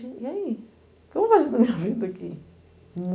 e aí? O que eu vou fazer da minha vida aqui?